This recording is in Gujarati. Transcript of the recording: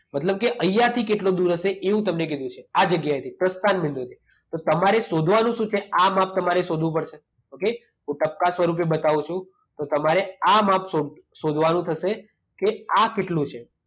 મતલબ કે અહિયાંથી કેટલો દૂર હશે એવું તમને કીધું છે. આ જગ્યાએથી, પ્રસ્થાન બિંદુથી. તો તમારે શોધવાનું શું છે? આ માપ તમારે શોધવું પડશે. ઓકે? હું ટપકાં સ્વરૂપે બતાવું છું. તો તમારે આ માપ શોધ શોધવાનું થશે કે આ કેટલું છે.